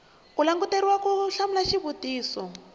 u languteriwa ku hlamula xivutiso